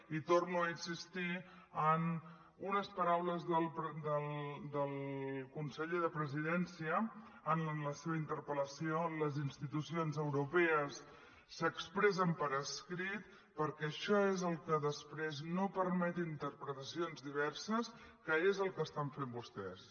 i torno a insistir en unes paraules del conseller de presidència en la seva interpel·lació on les institucions europees s’expressen per escrit perquè això és el que després no permet interpretacions diverses que és el que estan fent vostès